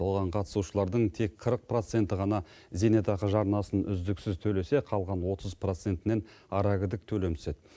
оған қатысушылардың тек қырық проценті ғана зейнетақы жарнасын үздіксіз төлесе қалған отыз процентінің арагідік төлемі түседі